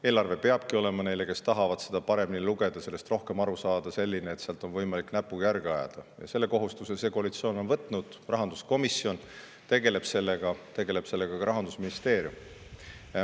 Eelarve peabki olema neile, kes tahavad seda paremini lugeda, sellest rohkem aru saada, selline, et sealt on võimalik näpuga järge ajada, ja selle kohustuse see koalitsioon on võtnud, rahanduskomisjon tegeleb sellega, tegeleb sellega ka Rahandusministeerium.